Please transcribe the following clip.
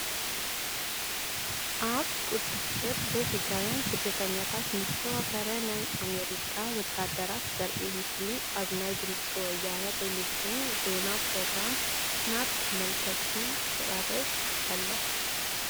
ኣብ ቁፅዕር ዘይሕጋውያን ስደተኛታት ንዝተዋፈረ ናይ ኣሜሪካ ወታደራት ዘርኢ ምስሊ ኣብ ናይ ድምፂ ወያነ ቴለቪዥን ዜና ፕሮግራም ናብ ተመልከትቲ ይቐርብ ኣሎ፡፡